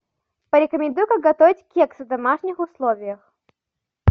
порекомендуй как готовить кексы в домашних условиях